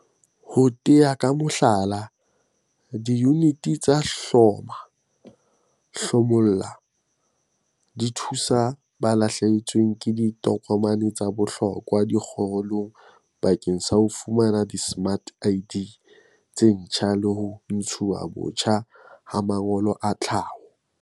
Ho tea ka mohlala, diyuniti tsa hloma-o-hlomolle di thusa ba lahlehetsweng ke ditokomane tsa bohlokwa dikgoholeng bakeng sa ho fumana dismart ID tse ntjha le ho ntshuwa botjha ha mangolo a tlhaho.